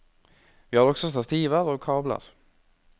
Vi har også stativer og kabler.